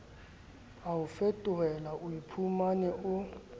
a o fetohela oiphumane o